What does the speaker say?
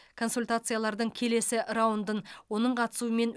консультациялардың келесі раундын оның қатысуымен